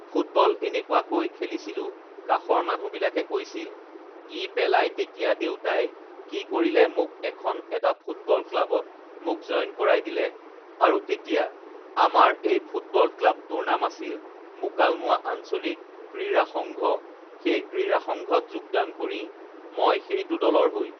football এনেকুৱাকৈ খেলিছিলোঁ কাষৰ মানুহবিলাকে কৈছিল ই পেলাই তেতিয়া দেউতাই কি কৰিলে মোক এখন এটা ফুটবল ক্লাবত মোক জইন কৰাই দিলে আৰু তেতিয়া আমাৰ এই ফুটবল ক্লাবটোৰ নাম আছিল মুকালমুৱা আঞ্চলিক ক্ৰীড়া সংঘ সেই ক্ৰীড়া সংঘত যোগদান কৰি মই সেইটো দলৰ হৈ